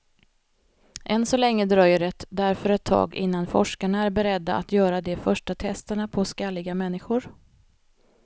Än så länge dröjer det därför ett tag innan forskarna är beredda att göra de första testerna på skalliga människor.